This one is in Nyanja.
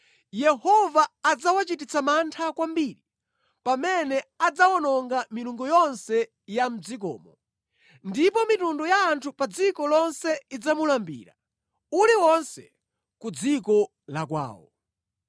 Yehova adzawachititsa mantha kwambiri pamene adzawononga milungu yonse ya mʼdzikomo. Ndipo mitundu ya anthu pa dziko lonse idzamulambira, uliwonse ku dziko la kwawo.